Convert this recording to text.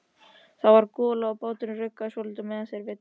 Það var gola og báturinn ruggaði svolítið meðan þeir veiddu.